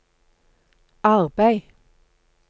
arbeid